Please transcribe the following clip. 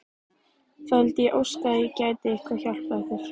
Það vildi ég óska að ég gæti eitthvað hjálpað ykkur!